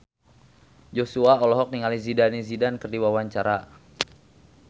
Joshua olohok ningali Zidane Zidane keur diwawancara